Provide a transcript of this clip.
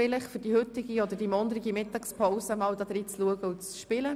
Vielleicht ist die heutige oder morgige Mittagspause geeignet, hineinzuschauen und zu spielen.